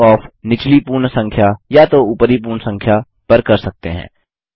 rounding off निचली पूर्ण संख्या या तो ऊपरी पूर्ण संख्या पर कर सकते हैं